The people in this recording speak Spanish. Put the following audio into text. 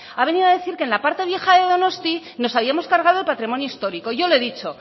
ha venido a decir que en la parte vieja de donostia nos habíamos cargado el patrimonio histórico yo le he dicho